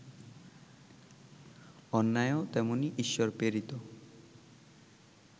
অন্যায়ও তেমনি ঈশ্বরপ্রেরিত